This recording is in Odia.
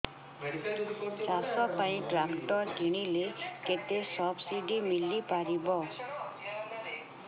ଚାଷ ପାଇଁ ଟ୍ରାକ୍ଟର କିଣିଲେ କେତେ ସବ୍ସିଡି ମିଳିପାରିବ